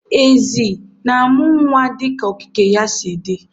Ezi na-amu nnwa dịka okike ya si dị.